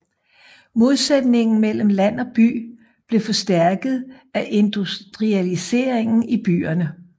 Modsætningen mellem land og by blev forstærket af industrialiseringen i byerne